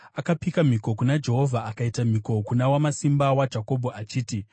Akapika mhiko kuna Jehovha, akaita mhiko kuna Wamasimba waJakobho achiti,